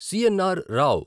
CNR. Rao